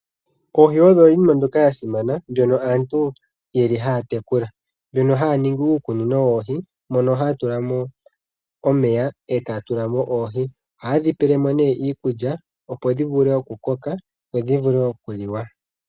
Oohi odho iinima mbyoka ya simana mbyono aantu yeli haya tekula. Mbyono haya ningi uukunino woohi mono haya tulamo omeya etaya tulamo oohi. Oha yedhi pele mo nee iikulya opo dhi vule okukoka dho dhivule okuliwa.